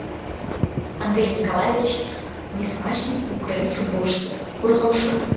андрей николаевич несмачный украин футболшысы қорғаушы